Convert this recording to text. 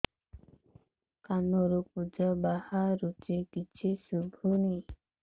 କାନରୁ ପୂଜ ବାହାରୁଛି କିଛି ଶୁଭୁନି